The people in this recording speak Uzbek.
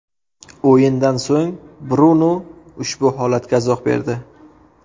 O‘yindan so‘ng Brunu ushbu holatga izoh berdi.